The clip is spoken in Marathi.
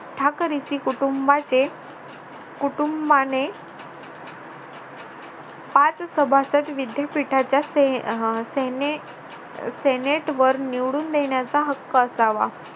ठाकरसी कुटुंबाचे कुटुंबाने पाच सभासद विद्यापीठाच्या सेनेत वर निवडून देण्याचा हक्क असावा